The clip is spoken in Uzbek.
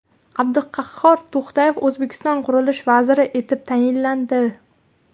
Abduqahhor To‘xtayev O‘zbekiston qurilish vaziri etib tayinlandi.